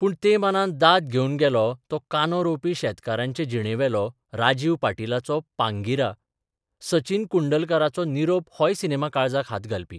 पूण ते मानान दाद घेवन गेलो तो कांदो रोवपी शेतकारांचे जिणेबेलो राजीव पाटीलाचो 'पांगिरा, 'सचिन कुंडलकराचो 'निरोप 'होय सिनेमा काळजाक हात घालपी.